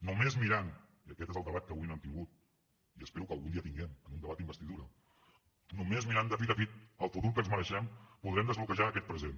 només mirant i aquest és el debat que avui no hem tingut i espero que algun tinguem en un debat d’investidura de fit a fit el futur que ens mereixem podrem desbloquejar aquest present